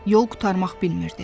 Yol qurtarmaq bilmirdi.